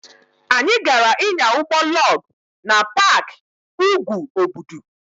Anyị gaara ịnya ụgbọ lọg na paaki úgwù Obudu.